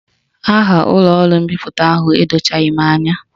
Aha ụlọọrụ mbipụta ahụ edochaghị m anya